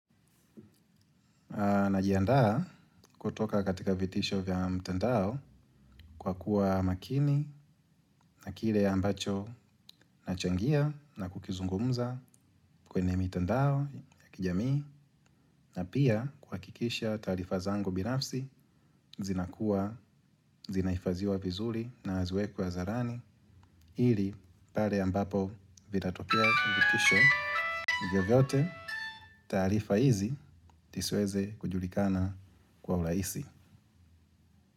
Aa najihandaa kutoka katika vitisho vya mtandao kwa kuwa makini na kile ambacho nachangia na kukizungumza kwene mitandao ya kijamii na pia kuhakikisha taarifa zangu binafsi zinahifadhiwa vizuri na haziwekwi hadharani ili pale ambapo vitatokea vitisho vyovyote taarifa hizi siziweze kujulikana kwa urahisi.